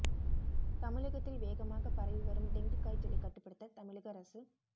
தமிழகத்தில் வேகமாக பரவி வரும் டெங்கு காய்ச்சலை கட்டுப்படுத்த தமிழக அரசு